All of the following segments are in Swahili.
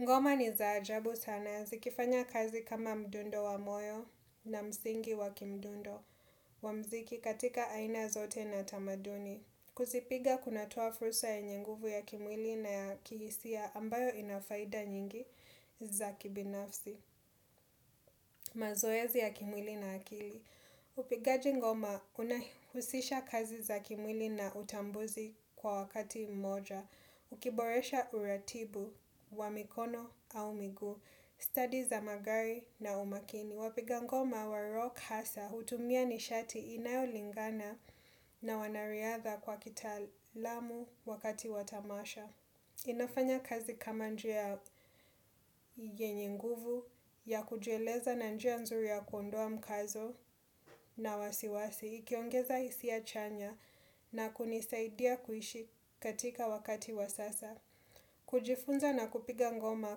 Ngoma ni zaa ajabu sana zikifanya kazi kama mdundo wa moyo na msingi wa kimdundo wa mziki katika aina zote na tamaduni. Kuzipiga kunatoa fursa ya nyinguvu ya kimwili na ya kihisia ambayo ina faida nyingi za kibinafsi. Mazoezi ya kimwili na akili. Upigaji ngoma unahusisha kazi za kimwili na utambuzi kwa wakati mmoja. Ukiboresha uratibu wa mikono au miguu Studi za magari na umakini Wapigangoma wa rock hasa hutumia nishati inayo lingana na wanariadha kwa kitaalamu wakati watamasha inafanya kazi kama njia yenye nguvu ya kujueleza na njia nzuri ya kuondoa mkazo na wasiwasi Ikiongeza hisia chanya na kunisaidia kuishi katika wakati wasasa kujifunza na kupiga ngoma,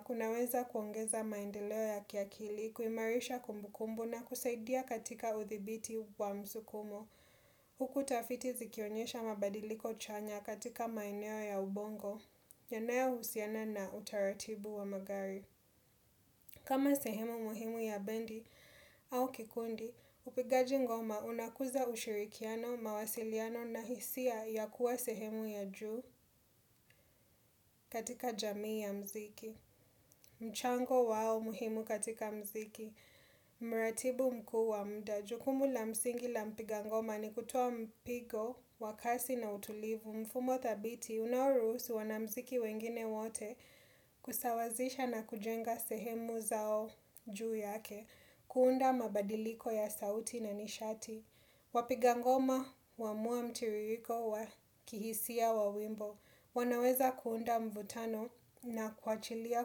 kunaweza kuongeza maendeleo ya kiakili, kuimarisha kumbukumbu na kusaidia katika uthibiti wa msukumo. Huku tafiti zikionyesha mabadiliko chanya katika maeneo ya ubongo, nyanayphusiana na utaratibu wa magari. Kama sehemu muhimu ya bendi au kikundi, upigaji ngoma unakuza ushirikiano, mawasiliano na hisia ya kuwa sehemu ya juu katika jamii ya mziki. Mchango wao muhimu katika mziki Muratibu mkuwa muda jukumu la msingi la mpigangoma ni kutuwa mpigo wa kasi na utulivu Mfumo thabiti unaurusu wanamziki wengine wote kusawazisha na kujenga sehemu zao juu yake kuunda mabadiliko ya sauti na nishati Wapigangoma wamua mtiririko wa kihisia wa wimbo wanaweza kuunda mvutano na kuachilia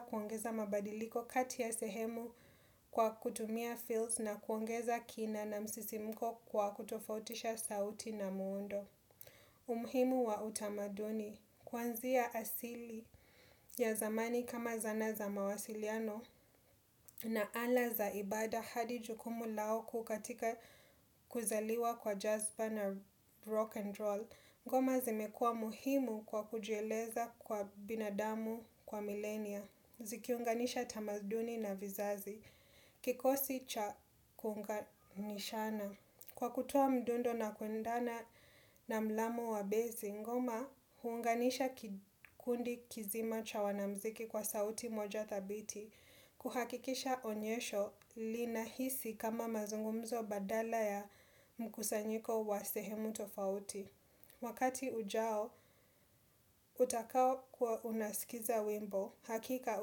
kuongeza mabadiliko kati ya sehemu kwa kutumia fields na kuongeza kina na msisimuko kwa kutofautisha sauti na muundo. Umuhimu wa utamaduni, kwanzia asili ya zamani kama zana za mawasiliano na ala za ibada hadi jukumu lao kukatika kuzaliwa kwa Jasper na Rock and Roll. Ngoma zimekua muhimu kwa kujueleza kwa binadamu kwa milenia Zikiunganisha tamaduni na vizazi Kikosi cha kunga nishana Kwa kutoa mdundo na kuendana na mlamo wa bezi ngoma hunganisha kundi kizima cha wanamziki kwa sauti moja thabiti kuhakikisha onyesho linahisi kama mazungumzo badala ya mkusanyiko wa sehemu tofauti Wakati ujao, utakao kuwa unasikiza wimbo. Hakika,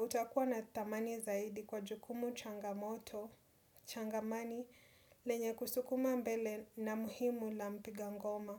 utakuwa na dhamani zaidi kwa jukumu changamoto, changamani, lenye kusukuma mbele na muhimu la mpiga ngoma.